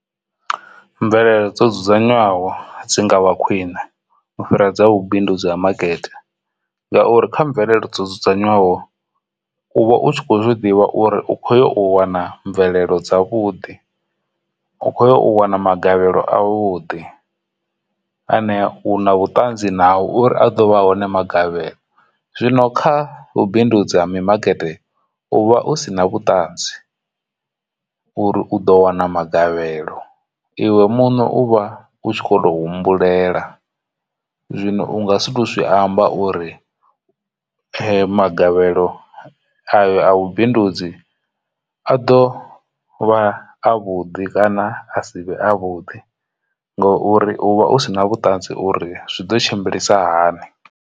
Mvelelo dzo dzudzanywaho dzi ngavha khwine u fhira dza vhubindudzi ha makete ngauri kha mvelelo dzo dzudzanywaho uvha u tshi kho ḓivha uri u khoyo u wana mvelelo dza vhuḓi u khoya u wana magavhelo a vhuḓi ane u na vhutanzi nao uri a do vha hone magavhelo. Zwino kha vhubindudzi mimakete u vha u si na vhuṱanzi uri u ḓo wana magavhelo iwe muṋe uvha u tshi kho to humbulela zwino u nga si to zwi amba uri magavhelo avhe a vhubindudzi a ḓo vha a vhuḓi kana a si vhe a vhudi ngori uvha u sina vhuṱanzi uri zwi ḓo tshimbilisa hani.